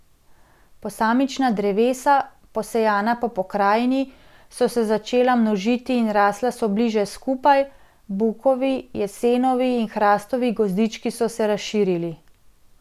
Posamična drevesa, posejana po pokrajini, so se začela množiti in rasla so bliže skupaj, bukovi, jesenovi in hrastovi gozdički so se razširili.